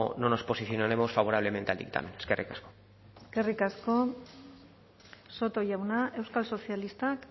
no nos posicionaremos favorablemente al dictamen eskerrik asko eskerrik asko soto jauna euskal sozialistak